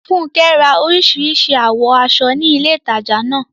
Funke ra orísìírísìí àwọ̀ aṣọ ní ilé ìtajà náà.